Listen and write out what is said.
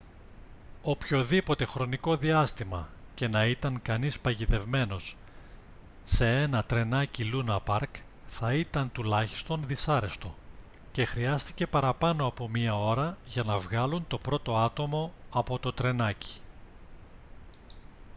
οποιοδήποτε χρονικό διάστημα και να ήταν κανείς παγιδευμένος σε ένα τρενάκι λούνα παρκ θα ήταν τουλάχιστον δυσάρεστο και χρειάστηκε παραπάνω από μία ώρα για να βγάλουν το πρώτο άτομο από το τρενάκι»